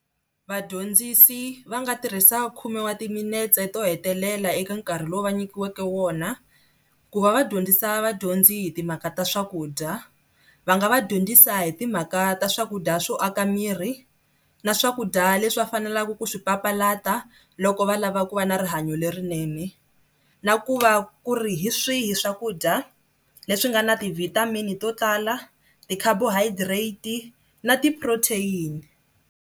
Vadyondzisi va nga tirhisa khume wa timinetse to hetelela eka nkarhi lowu va nyikiweke wona ku va va dyondzisa vadyondzi hi timhaka ta swakudya. Va nga va dyondzisa hi timhaka ta swakudya swo aka miri na swakudya leswi va faneleke ku swi papalata loko va lava ku va na rihanyo lerinene na ku va ku ri hi swihi swakudya leswi nga na ti-vitamin to tala, ti-carbohydrate na ti-protein.